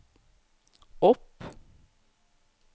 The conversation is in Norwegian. opp